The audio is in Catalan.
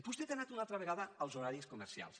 vostè ha anat una altra vegada als horaris comercials